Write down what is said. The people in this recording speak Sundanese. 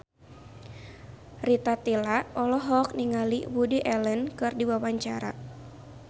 Rita Tila olohok ningali Woody Allen keur diwawancara